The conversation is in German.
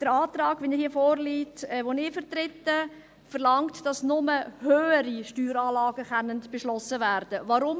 Der Antrag, so wie er hier vorliegt und den ich vertrete, verlangt, dass nur höhere Steueranlagen beschlossen werden können.